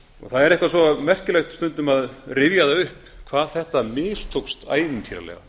það er eitthvað svo merkilegt stundum að rifja það upp hvað þetta mistókst ævintýralega